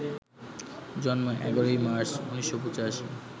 জন্ম ১১ মার্চ, ১৯৮৫